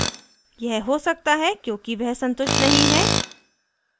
यह हो सकता है क्योंकि वह संतुष्ट नहीं है